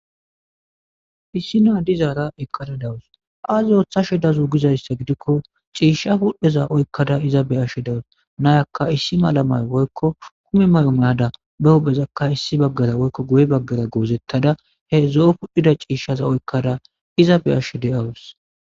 Issinno dizaara eqqada dawus;aazee oothashu dazu gizayssa gidikko ciishsha puudheza oykkaza iza be7she de7awus;naa7akka issi mala maayo woykko mule mayo mayada ba huuphezaka issi baggara woykko guye baggara goozethada zo7o kul7izaciisshtha oykkada iza be7ashee de7awus.